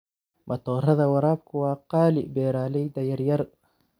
Matoorada waraabku waa qaali beeralayda yaryar.